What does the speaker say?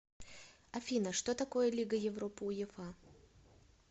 афина что такое лига европы уефа